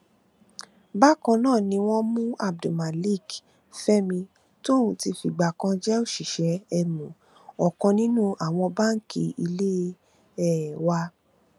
bákan ná ni wọn mú abdulmalik fẹmi tóun ti fìgbà kan jẹ òṣìṣẹ um ọkàn nínú àwọn báǹkì ilé um wa